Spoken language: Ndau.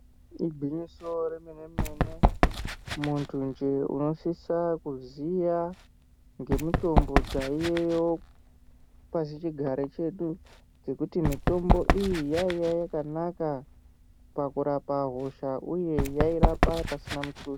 Igwinyiso remene-mene, muntunje unosisa kuziya ngemitombo dzaiyeyo pasichigare chedu, ngekuti mitombo iyi yaiya yakanaka pakurapa hosha ,uye yairapa pasina muthuso.